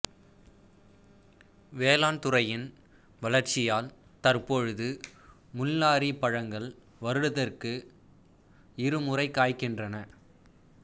வேளாண் துறையின் வளர்ச்சியால் தற்பொழுது முள்நாறிப் பழங்கள் வருடத்திற்கு இரு முறை காய்க்கின்றன